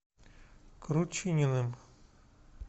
кручининым